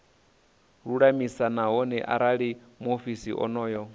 lulamise nahone arali muofisiri onoyo